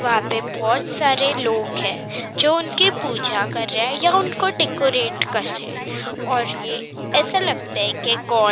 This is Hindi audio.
वहां पे बहुत सारे लोग हैं जो उनकी पूजा कर रहे हैं या उनको डेकोरेट कर रहे हैं और ये ऐसा लगता है कि--